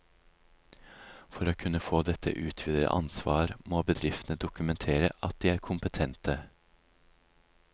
For å kunne få dette utvidede ansvar må bedriftene dokumentere at de er kompetente.